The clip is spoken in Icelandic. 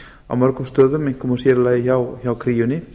á mörgum stöðum einkum og sér í lagi hjá kríunni